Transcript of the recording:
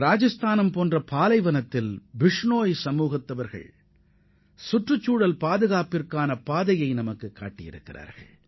ராஜஸ்தானின் பாலைவனப் பகுதியில் வசிக்கும் பிஷ்னோய் வகுப்பினர் சுற்றுச்சூழலை எவ்வாறு பாதுகாக்க வேண்டும் என்பதற்கு நமக்கு வழிகாட்டுகின்றனர்